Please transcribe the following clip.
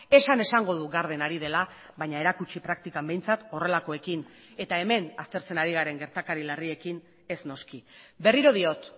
esan esango du garden ari dela baina erakutsi praktikan behintzat horrelakoekin eta hemen aztertzen ari garen gertakari larriekin ez noski berriro diot